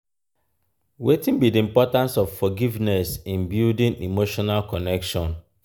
wetin be di importance of forgiveness in building emotional connection?